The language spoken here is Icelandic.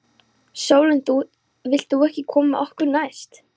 Vilt þú ekki koma með okkur næst?